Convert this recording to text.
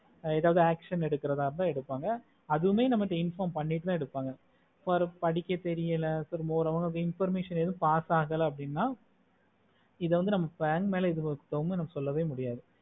எதாவது action எடுக்குறத இருந்த எடுப்பாங்க அதுமே நம்ம கிட்ட inform பண்ணிடுத்த எடுப்பாங்க so அவருக்கு படிக்கச் தெரியல திரும்ப ஒரு information ஏதும் pass அகல அப்புடின்னா இது வந்து நம்ம mela மேல ஏதும் சொல்ல முடியாது